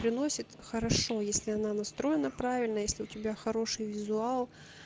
приносит хорошо если она настроена правильно если у тебя хороший визуал